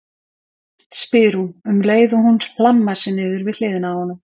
spyr hún um leið og hún hlammar sér niður við hliðina á honum.